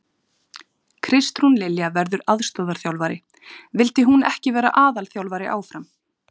Kristrún Lilja verður aðstoðarþjálfari, vildi hún ekki vera aðalþjálfari áfram?